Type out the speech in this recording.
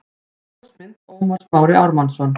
Ljósmynd: Ómar Smári Ármannsson